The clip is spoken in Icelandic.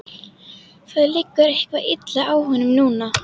Það liggur eitthvað illa á honum núna.